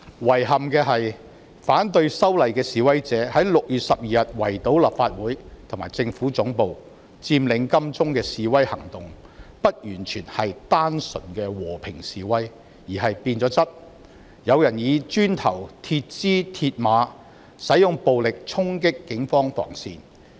遺憾的是，反對修例的示威者6月12日圍堵立法會和政府總部及佔領金鐘不完全是單純的和平示威，而是變了質的示威行動，有人以磚頭、鐵枝和鐵馬，使用暴力衝擊警方防線。